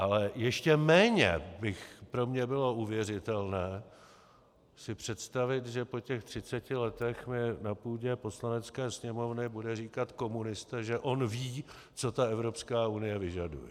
Ale ještě méně by pro mě bylo uvěřitelné si představit, že po těch 30 letech mi na půdě Poslanecké sněmovny bude říkat komunista, že on ví, co ta Evropská unie vyžaduje.